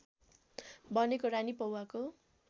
बनेको रानी पौवाको